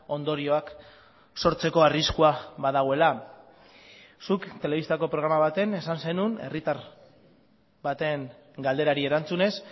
ondorioak sortzeko arriskua badagoela zuk telebistako programa batean esan zenuen herritar baten galderari erantzunez